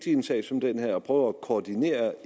i en sag som denne er prøver at koordinere